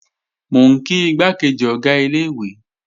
Mò ń kí igbákejì Ọ̀gá ilé-ìwé